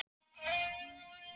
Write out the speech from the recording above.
Elsa Dóra Ómarsdóttir Aldur?